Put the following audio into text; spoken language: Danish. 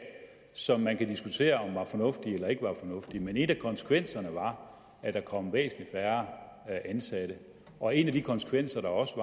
som man kan diskutere om var fornuftige eller ikke var fornuftige men en af konsekvenserne var at der kom væsentlig færre ansatte og en af de konsekvenser der også